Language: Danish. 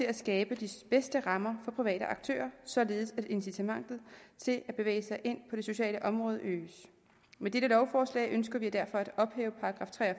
at skabe de bedste rammer for private aktører således at incitamentet til at bevæge sig ind på det sociale område øges med dette lovforslag ønsker vi derfor